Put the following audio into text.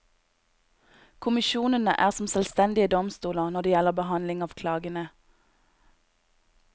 Kommisjonene er som selvstendige domstoler når det gjelder behandling av klagene.